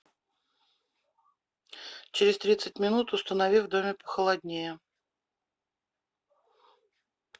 через тридцать минут установи в доме похолоднее